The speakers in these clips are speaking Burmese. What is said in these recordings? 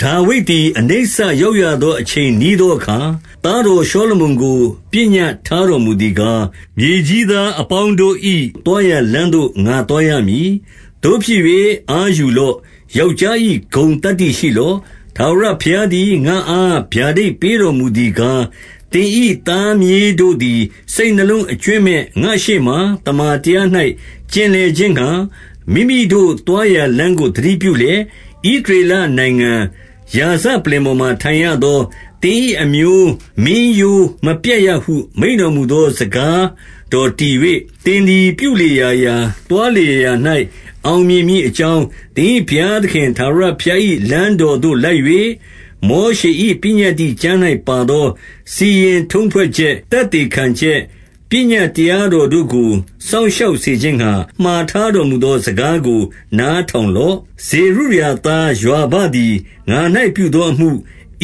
ဒါဝိဒ်သည်အနိစ္စရောက်ရသော အချိန်နီးသော အခါ၊ သားတော်ရှောလမုန်ကို ပညတ်ထားတော်မူသည် ကား၊ မြေကြီးသားအပေါင်းတို့၏ သွားရာလမ်းသို့ ငါသွားရမည်။ သို့ဖြစ်၍အားယူလော့။ ယောက်ျား၏ ဂုဏ်သတ္တိရှိလော့။ ထာဝရဘုရားသည် ငါ့အားဗျာဒိတ်ပေးတော် မူသည်ကား၊ သင်၏သားမြေးတို့သည် စိတ်နှလုံးအကြွင်းမဲ့ ငါ့ရှေ့မှာ သမ္မာတရား၌ ကျင်လည်ခြင်းငှါ မိမိတို့သွားရာ လမ်းကို သတိပြုလျှင်၊ ဣသရေ လနိုင်ငံရာဇပလ္လင်ပေါ် မှာ ထိုင်ရသော သင်၏အမျိုးမင်းရိုးမပြတ်ရဟု မိန့်တော် မူသော စကားတော်တည်၍၊ သင်သည်ပြုလေရာရာ၊ သွားလေရာရာ၌ အောင်မြင်မည်အကြောင်းသင်၏ ဘုရားသခင်ထာဝရဘုရား၏ လမ်းတော်သို့ လိုက်၍၊ မောရှေ၏ပညတ္တိကျမ်း၌ပါသော စီရင်ထုံးဖွဲ့ချက်၊ သက်သေခံချက်၊ ပညတ်တရားတော်တို့ကို စောင့်ရှောက် စေခြင်းငှါ မှာထားတော်မူသော စကားကို နားထောင် လော့။ ဇေရုယာသားယွာဘသည် ငါ၌ပြုသောအမှု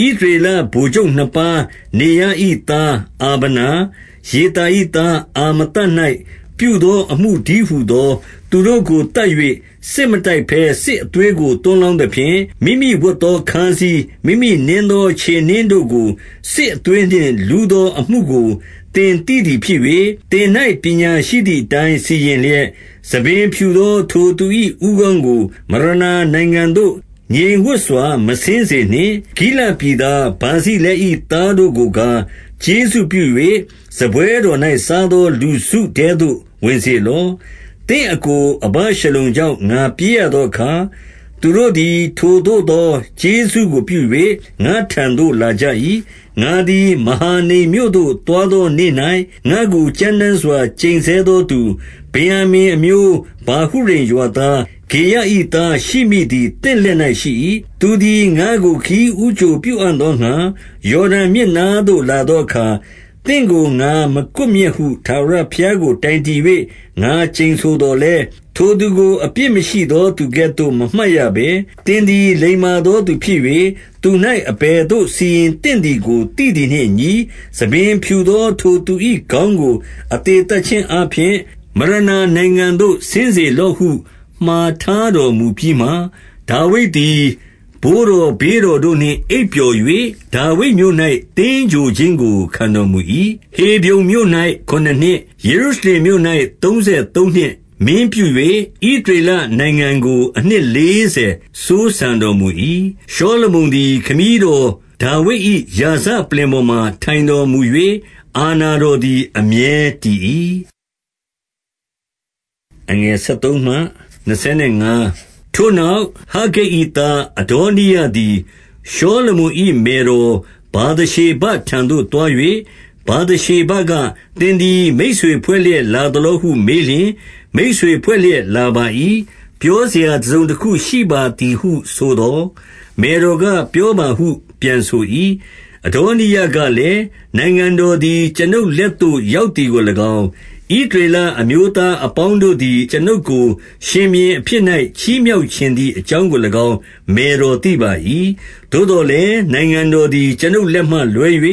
၊ ဣသရေလဗိုလ်ချုပ်နှစ်ပါးနေရ၏သားအာဗနာ၊ ယေသာ ၏ သားအာမသ၌ ပြုသောအမှုတည်းဟူသော သူတို့ကို သတ်၍ စစ်မတိုက်ဘဲ စစ်အသွေးကို သွန်းလောင်း သဖြင့်၊ မိမိဝတ်သောခါးစည်း၊ မိမိနင်းသောခြေနင်းတို့ကို စစ်အသွေးနှင့် လူးသောအမှုကို သင်သိသည်ဖြစ်၍၊ သင်၌ပညာရှိသည်အတိုင်း စီရင်လျက်၊ ဆံပင် ဖြူသော ထိုသူ၏ဦးခေါင်းကို မရဏာနိုင်ငံသို့ ငြိမ်ဝပ်စွာ မဆင်းစေနှင့်။ ဂိလဒ်ပြည်သားဗာဇိလဲ၏သားတို့ကိုကား ကျေးဇူးပြု၍ စားပွဲတော်၌ စားသောလူစုထဲသို့ ဝင်စေ လော့။ သင့်အစ်ကိုအဗရှလုံကြောင့် ငါပြေးရသောအခါ၊ သူတို့သည် ထိုသို့သောကျေးဇူးကိုပြု၍ ငါ့ထံသို့ လာကြ၏။ ငါသည်မဟာနိမ်မြို့သို့သွားသော နေ့၌ ငါ့ကို ကြမ်းတမ်းစွာ ကျိန်ဆဲသောသူ၊ ဗင်္ယာမိန်အမျိုးဗာဟု ရိမ်ရွာသား၊ ဂေရ၏သားရှိမိသည် သင့်လက်၌ရှိ၏။ သူသည်ငါ့ကိုခရီးဦးကြိုပြုအံ့သောငှါ ယော်ဒန်မြစ်နားသို့ လာသောအခါ၊ သင့်ကို ငါမကွပ်မျက်ဟု ထာဝရဘုရားကို တိုင်တည်၍ ငါကျိန်ဆိုသော်လည်း၊ ထိုသူကို အပြစ်မရှိသော သူကဲ့သို့မမှတ်ရဘဲ၊ သင်သည် လိမ္မာသော သူဖြစ်၍ သူ၌အဘယ်သို့ စီရင် သင့်သည်ကို သိသည်နှင့်အညီ၊ ဆံပင်ဖြူသော ထိုသူ၏ ခေါင်းကို အသေသတ်ခြင်းအားဖြင့် မရဏာနိုင်ငံသို့ ဆင်းစေလော့ဟု မှာထားတော်မူပြီးမှ၊ ဒါဝိဒ်သည်ဘိုးတော်ဘေးတော်တို့နှင့် အိပ်ပျော် ၍ ဒါဝိဒ်မြို့၌ သင်္ဂြိုဟ်ခြင်းကို ခံတော်မူ၏။ ဟေဗြုန်မြို့၌ခုနစ်နှစ်၊ ယေရုရှလင်မြို့၌ သုံး ဆယ်သုံးနှစ် မင်းပြု၍ ဣသရေလနိုင်ငံကို အနှစ် လေးဆယ်စိုးစံတော်မူ၏။ ရှောလမုန်သည် ခမည်းတော်ဒါဝိဒ်၏ ရာဇ ပလ္လင်ပေါ်မှာ ထိုင်တော်မူ၍၊ အာဏာတော်သည် အမြဲတည်၏။ ထိုနောက် ဟဂ္ဂိတ်၏သား အဒေါနိယသည် ရှောလမုန်၏ မယ်တော်ဗာသရှေဘထံသို့သွား၍၊ ဗာသရှေဘက သင်သည်မိတ်ဆွေဖွဲ့လျက် လာသလော ဟုမေးလျှင်၊ မိတ်ဆွေဖွဲ့လျက် လာပါ၏။ ပြောစရာတစုံတခုရှိပါသည်ဟု ဆိုသော်၊ မယ်တော်က ပြောပါဟု ပြန်ဆို၏။ အဒေါနိယကလည်း၊ နိုင်ငံတော်သည် ကျွန်ုပ် လက်သို့ရောက်သည်ကို၎င်း၊ ဣသရေလအမျိုးသား အပေါင်းတို့သည် ကျွန်ုပ်ကို ရှင်ဘုရင်အဖြစ်၌ ချီးမြှောက် ချင်သည်အကြောင်းကို၎င်း မယ်တော်သိပါ၏။ သို့သော် လည်းနိုင်ငံတော်သည် ကျွန်ုပ်လက်မှလွဲ၍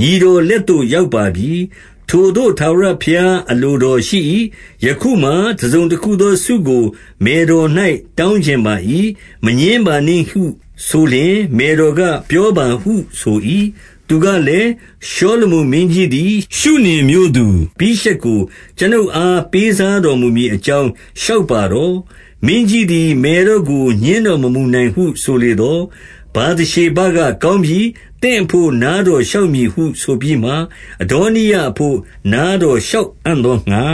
ညီတော်လက် သို့ ရောက်ပါပြီ။ ထိုသို့ထာဝရဘုရားအလိုတော်ရှိ၏။ ယခုမှာ တစုံတခုသော ဆုကို မယ်တော်၌ တောင်းချင်ပါ၏။ မငြင်းပါနှင့်ဟုဆိုလျှင်၊ မယ်တော်က ပြောပါဟုဆို၏။ သူကလည်းရှောလမုန်မင်းကြီးသည် ရှုနင်မြို့သူ အဘိရှက်ကို ကျွန်ုပ်အား ပေးစားတော်မူမည်အကြောင်း လျှောက်ပါတော့။ မင်းကြီးသည် မယ်တော်ကို ငြင်းတော် မမူနိုင်ဟု ဆိုလေသော်၊ ဗာသရှေဘကကောင်းပြီ။ သင့်အဘို့နားတော် လျှောက်မည်ဟု ဆိုပြီးမှ၊ အဒေါနိယအဘို့ နားတော် လျှောက်မည်ဟုဆိုပြီးမှ၊ အဒေါနိယအဘို့ နားတော် လျှောက်အံ့သောငှါ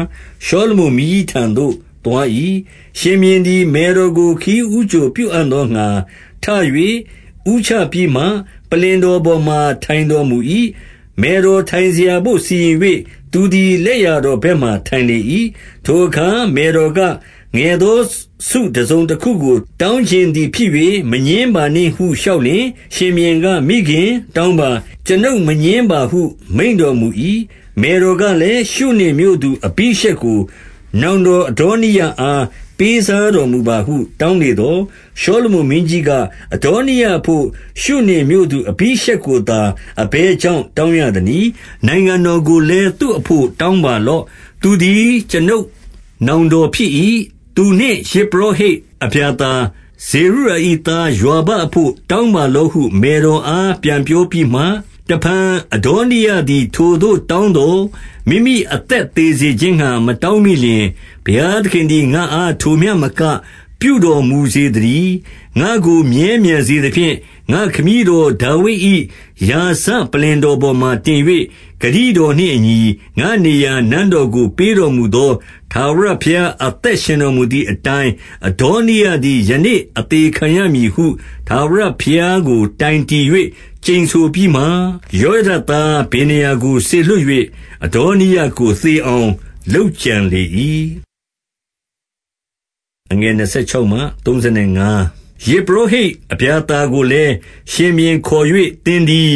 ရှောလမုန်မင်းကြီးထံတော်သို့သွား၏။ ရှင်ဘုရင်သည် မယ်တော်ကို ခရီးဦးကြိုပြုအံ့ သောငှါ ထ၍ ဦးချပြီးမှ၊ ပလ္လင်တော်ပေါ်မှ ထိုင်တော် မူ၏။ မယ်တော်ထိုင်စရာဘို့ စီရင်၍ သူသည် လက်ျာ တော်ဘက်မှာ ထိုင်လေ၏။ ထိုအခါ မယ်တော်က၊ ငယ်သောဆု တစုံတခုကို တောင်းချင်သည်ဖြစ်၍ မငြင်းပါနှင့်ဟု လျှောက်လျှင်၊ ရှင်ဘုရင်ကမိခင်၊ တောင်းပါ၊ ကျွန်ုပ်မငြင်းပါဟု မိန့်တော် မူ၏။ မယ်တော်ကလည်း၊ ရှုနင်မြို့သူ အဘိရှက်ကို နောင်တော်အဒေါနိယအား ပေးစားတော်မူပါဟု တောင်း လေသော်၊ ရှောလမုန်မင်းကြီးက၊ အဒေါနိယအဘို့ ရှုနင် မြို့သူ အဘိရှက်ကိုသာ အဘယ်ကြောင့် တောင်းရ သနည်း။ နိုင်ငံတော်ကိုလည်း သူအဘို့ တောင်းပါလော့။ သူသည်ကျွန်ုပ်နောင်တော်ဖြစ်၏။ သူနှင့်ယဇ်ပုရောဟိတ် အဗျာသာ၊ ဇေရုယာ၏ သားယွာဘအဘို့ တောင်းပါလော့ ဟု မယ်တော်အား ပြန်ပြောပြီးမှ၊ တဖန်အဒေါနိယသည် ထိုသို့တောင်းသော်၊ မိမိ အသက်သေစေခြင်းငှါ မတောင်းမိလျှင်၊ ဘုရားသခင် သည် ငါ့အားထိုမျှမက ပြုတော်မူစေသတည်း။ ငါ့ကိုမြဲမြံစေသဖြင့်၊ ငါ့ခမည်းတော် ဒါဝိဒ်၏ ရာဇပလ္လင်တော်ပေါ်မှာ တင်၍ဂတိတော်နှင့်အညီ ငါ့နေရာနန်းတော်ကို ပေးတော်မူသော ထာဝရဘုရား အသက်ရှင်တော်မူသည်အတိုင်း၊ အဒေါနိယသည် ယနေ့ အသေခံရမည်ဟု ထာဝရဘုရားကိုတိုင်တည်၍ ကျိန်ဆို ပြီးမှ၊ ယောယဒသား ဗေနာယကိုစေလွှတ်၍၊ အဒေါ နိယကို သေအောင်လုပ်ကြံလေ၏။ ယဇ်ပုရောဟိတ် အဗျာသာကိုလည်းရှင်ဘုရင် ခေါ်၍၊ သင်သည်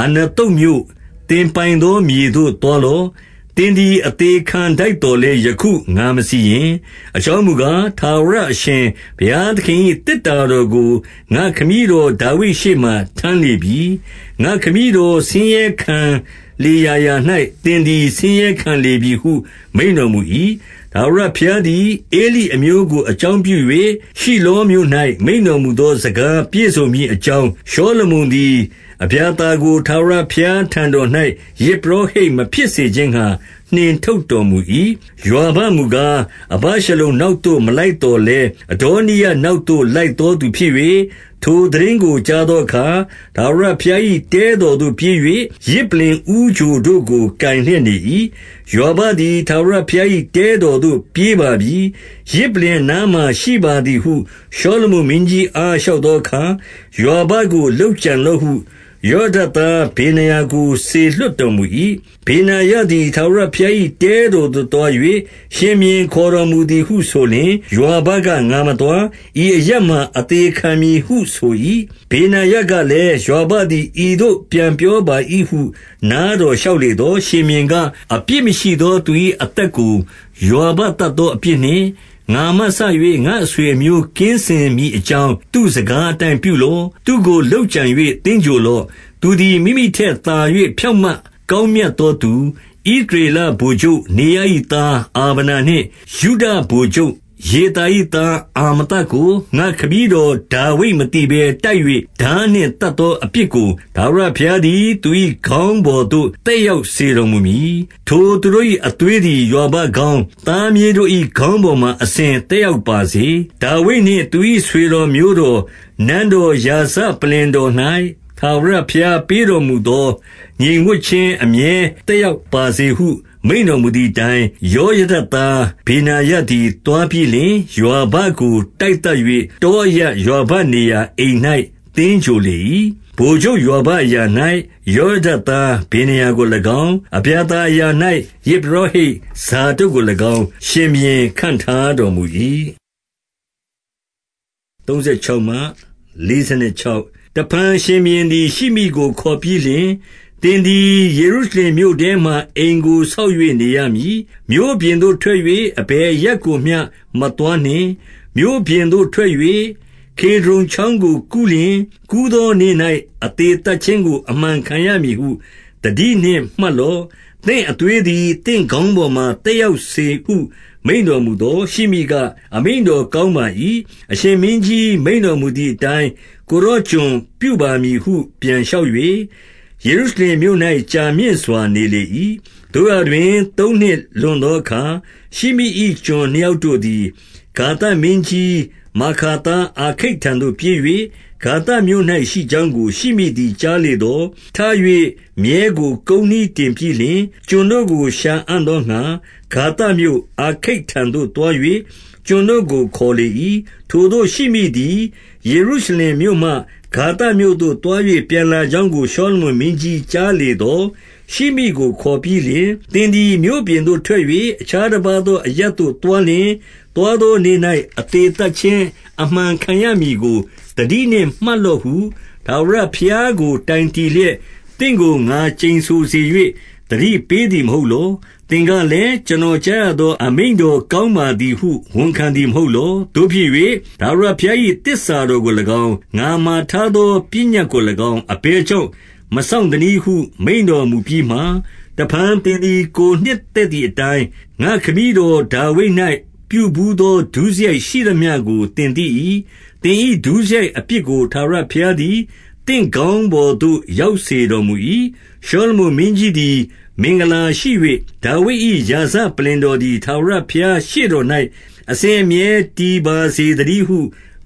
အာနသုတ်မြို့၊ သင်ပိုင်သော မြေသို့ သွားလော့။ သင်သည် အသေခံထိုက်သော်လည်း ယခု ငါမစီရင်။ အကြောင်းမူကား၊ ထာဝရ အရှင်ဘုရားသခင် ၏သေတ္တာတော်ကို ငါ့ခမည်းတော် ဒါဝိဒ်ရှေ့မှာ ထမ်း လေပြီ။ ငါ့ခမည်းတော်ဆင်းရဲခံလေရာရာ၌ သင်သည် ဆင်းရဲခံလေပြီဟု မိန့်တော်မူ၏။ ထာဝရဘုရားသည် ဧလိအမျိုးကို အကြောင်း ပြု၍၊ ရှိလောမြို့၌ မိန့်တော်မူသော စကားပြည့်စုံမည် အကြောင်း၊ ရှောလမုန်သည် အဗျာသာကို ထာဝရဘုရား ထံတော်၌ ယဇ်ပုရောဟိတ်မဖြစ်စေခြင်းငှါ နှင်ထုတ်တော် မူ၏။ ယွာဘမူကား၊ အဗရှလုံ နောက်သို့မလိုက်သော် လည်း၊ အဒေါနိယနောက်သို့ လိုက်သောသူဖြစ်၍၊ ထို သိတင်းကို ကြားသောအခါ၊ ထာဝရဘုရား၏ တဲတော်သို့ ပြေး၍ ယဇ်ပလ္လင်ဦးချိုတို့ကို ကိုင်လျက်နေ၏။ ယွာဘသည် ထာဝရဘုရား၏ တဲတော်သို့ ပြေးပါပြီ။ ယဇ်ပလ္လင် အနားမှာရှိပါသည်ဟု ရှောလမုန် မင်းကြီးအား လျှောက်သောအခါ၊ ယွာဘကို လုပ်ကြံ လော့ဟု ယောယဒသား ဗေနာယကို စေလွှတ်တော်မူ၏။ ဗေနာယသည် ထာဝရဘုရား၏ တဲတော်သို့ သွား၍၊ ရှင်ဘုရင်ခေါ်တော်မူသည်ဟုဆိုလျှင်၊ ယွာဘက ငါမသွား၊ ဤအရပ်မှာ အသေခံမည်ဟုဆို၏။ ဗေနာယ ကလည်း၊ ယွာဘသည်ဤသို့ပြန်ပြောပါ၏ဟု နားတော် လျှောက်လေသော်၊ ရှင်ဘုရင်က၊ အပြစ်မရှိသော သူ၏အသက်ကို ယွာဘသတ်သောအပြစ်နှင့် ငါမှစ၍ ငါ့အဆွေအမျိုး ကင်းစင်မည်အကြောင်း သူ့စကားအတိုင်းပြုလော့။ သူ့ကို လုပ်ကြံ၍ သင်္ဂြိုဟ်လော့။ သူသည် မိမိထက်သာ၍ ဖြောင့်မတ် ကောင်း မြတ်သောသူ၊ ဣသရေလဗိုလ်ချုပ်နေရ၏သား အာဗနာ နှင့်ယုဒဗိုလ်ချုပ်ယေသာ၏သားအာမသကို ငါ့ခမည်း တော် ဒါဝိဒ်မသိဘဲ တိုက်၍ထားနှင့် သတ်သော အပြစ် ကို ထာဝရဘုရားသည် သူ၏ခေါင်းပေါ်သို့ သက်ရောက် စေတော်မူမည်။ ထိုသူတို့၏ အသွေးသည် ယွာဘခေါင်း၊ သားမြေးတို့၏ ခေါင်းပေါ်မှာ အစဉ်သက်ရောက်ပါစေ။ ဒါဝိဒ်နှင့် သူ၏ဆွေတော်မျိုးတော်၊ နန်းတော်၊ ရာဇပလ္လင် တော်၌ ထာဝရဘုရားပေးတော်မူသော ငြိမ်ဝပ်ခြင်း အမြဲသက်ရောက်ပါစေဟု မိန့်တော်မူသည်အတိုင်း၊ ယောယဒသား ဗေနာယသည် သွားပြီးလျှင်၊ ယွာဘကို တိုက်သတ်၍ တောအရပ်၊ ယွာဘနေရာအိမ်၌ သင်္ဂြိုဟ်လေ၏။ ဗိုလ်ချုပ်ယွာဘအရာ၌ ယောယဒသား ဗေနာယကို၎င်း၊ အဗျာသာအရာ၌ ယဇ်ပုရောဟိတ် ဇာဒုတ်ကို၎င်း ရှင်ဘုရင်ခန့်ထားတော်မူ၏။ တဖန်ရှင်ဘုရင်သည် ရှိမိကို ခေါ်ပြီးလျှင်၊ သင်သည် ယေရုရှလင်မြို့ထဲမှာ အိမ်ကိုဆောက်၍ နေရ မည်။ မြို့ပြင်သို့ထွက်၍ အဘယ်အရပ်ကို မျှမသွားနှင့်။ မြို့ပြင်သို့ထွက်၍ ကေဒြုန်ချောင်းကို ကူးလျှင်၊ ကူးသောနေ့၌ အသေသတ်ခြင်းကို အမှန်ခံရမည်ဟု သတိနှင့်မှတ်လော့။ သင့်အသွေးသည် သင့်ခေါင်းပေါ်မှာ သက်ရောက်စေဟု မိန့်တော်မူသော်၊ ရှိမိက၊ အမိန့်တော်ကောင်းပါ၏။ အရှင်မင်းကြီး မိန့်တော်မူသည်အတိုင်း ကိုယ်တော်ကျွန်ပြုပါမည်ဟု ပြန် လျှောက်၍ ယေရုရှလင်မြို့၌ ကြာမြင့်စွာနေလေ၏။ သို့ရာတွင် သုံးနှစ်လွန်သောအခါ၊ ရှိမိ၏ကျွန် နှစ်ယောက်တို့သည် ဂါသမင်းကြီးမာခါသား အာခိတ်ထံ သို့ပြေး၍ ဂါသမြို့၌ရှိကြောင်းကို ရှိမိသည်ကြားလေသော်၊ ထ၍မြည်းကို ကုန်းနှီးတင်ပြီးလျှင်၊ ကျွန်တို့ကို ရှာအံ့သောငှါ ဂါသမြို့၊ အာခိတ်ထံသို့သွား၍ ကျွန်တို့ကို ခေါ်လေ၏။ ထိုသို့ရှိမိသည် ယေရုရှလင်မြို့မှ ဂါသမြို့သို့ သွား၍ ပြန်လာကြောင်းကို ရှောလမုန်မင်းကြီး ကြား လေသော်၊ ရှိမိကို ခေါ်ပြီးလျှင်၊ သင်သည် မြို့ပြင်သို့ ထွက် ၍ အခြားတပါးသော အရပ်သို့သွားလျှင်၊ သွားသောနေ့၌ အသေသတ်ခြင်းအမှန်ခံရမည်ကို သတိနှင့်မှတ်လော့ဟု ထာဝရဘုရားကိုတိုင်တည်လျက် သင့်ကို ငါကျိန်ဆိုစေ၍ သတိပေးသည်မဟုတ်လော။ သင်ကလည်း ကျွန်တော် ကြားရသော အမိန့်တော်ကောင်းပါသည်ဟု ဝန်ခံသည် မဟုတ်လော။ သို့ဖြစ်၍ ထာဝရဘုရား၏သစ္စာတော်ကို၎င်း၊ ငါမှာထားသော ပညတ်ကို၎င်း၊ ငါမှာထားသော ပညတ် ကို၎င်း အဘယ်ကြောင့် မစောင့်သနည်းဟု မိန့်တော် မူပြီးမှ၊ တဖန်သင်သည် ကိုယ်နှစ်သက်သည်အတိုင်း ငါ့ခမည်းတော်ဒါဝိဒ်၌ ပြုဘူးသော ဒုစရိုက်ရှိသမျှကို သင်သိ၏။ သင်၏ဒုစရိုက်အပြစ်ကို ထာဝရဘုရားသည် သင့်ခေါင်းပေါ်သို့ ရောက်စေတော်မူ၏။ ရှောလမုန်မင်းကြီးသည် မင်္ဂလာရှိ၍ ဒါဝိဒ်၏ ရာဇပလ္လင်တော်သည် ထာဝရဘုရားရှေ့တော်၌ အစဉ် အမြဲတည်ပါစေသတည်းဟု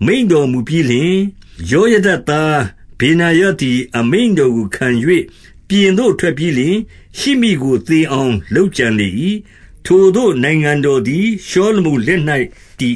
မိန့်တော်မူပြီးလျှင်၊ ယောယဒသား ဗေနာယသည် အမိန့်တော်ကို ခံ၍ ပြင်သို့ထွက်ပြီးလျှင် ရှိမိကိုသေအောင်လုပ်ကြံ လေ၏။ ထိုသို့နိုင်ငံတော်သည် ရှောလမုန်လက်၌ တည်